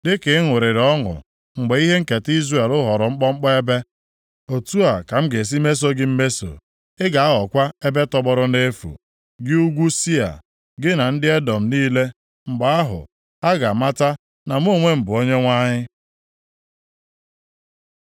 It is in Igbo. Dịka ị ṅụrịrị ọṅụ mgbe ihe nketa Izrel ghọrọ mkpọmkpọ ebe, otu a ka m ga-esi mesoo gị mmeso. Ị ga-aghọkwa ebe tọgbọrọ nʼefu, gị ugwu Sia, gị na ndị Edọm niile. Mgbe ahụ, ha ga-amata na mụ onwe m bụ Onyenwe anyị.’ ”